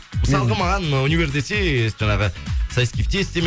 мысалға маған универ десе жаңағы сосиски в тестемен